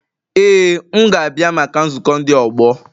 Ee m ga-abịa maka nzukọ ndi ọgbọ